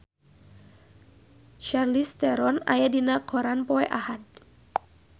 Charlize Theron aya dina koran poe Ahad